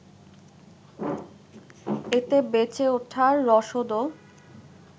এতে বেঁচে ওঠার রসদও